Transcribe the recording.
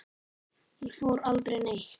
Ég fór aldrei neitt.